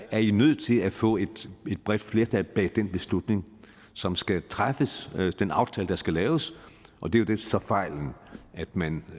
er i nødt til at få et bredt flertal bag den beslutning som skal træffes den aftale der skal laves og det er jo så fejlen at man